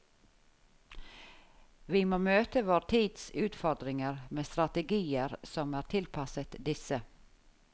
Vi må møte vår tids utfordringer med strategier som er tilpasset disse.